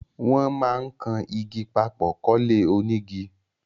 Wón máà ń kan igi papò kólé onígi